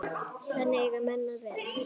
Þannig eiga menn að vera.